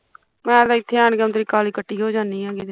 ਮੈਂ ਤੇ ਇੱਥੇ ਆਣ ਕੇ ਕਾਲੀ ਕਤੀ ਹੋ ਜਾਨੀ ਆ ਕਿਤੇ